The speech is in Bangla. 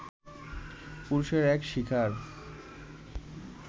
পুরুষের এক শিকার